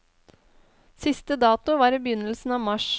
Siste dato var i begynnelsen av mars.